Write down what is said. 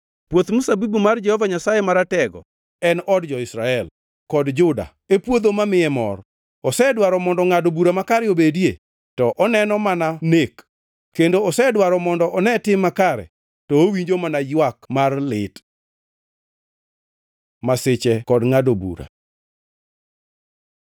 Puoth mzabibu mar Jehova Nyasaye Maratego en od jo-Israel, kod jo-Juda e puodho mamiye mor. Osedwaro mondo ngʼado bura makare obedie, to oneno mana nek kendo osedwaro mondo one tim makare, to owinjo mana ywak mar lit. Masiche kod ngʼado bura